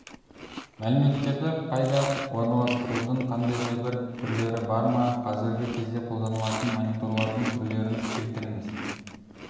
мәліметтерді қайда орналастырудың қандай да бір түрлері бар ма қазіргі кезде қолданылатын мониторлардың түрлерін келтіріңіз